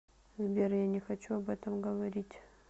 сбер я не хочу об этом говорить